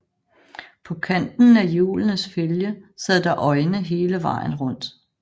På kanten af hjulenes fælge sad der øjne hele vejen rundt